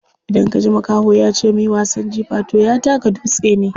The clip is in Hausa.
Idan kaji makaho yace muyi wasan jifa toh ya taka dutse ne.